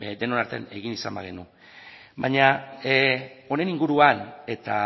denon artean egin izan bagenu baina honen inguruan eta